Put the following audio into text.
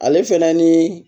Ale fɛnɛ ni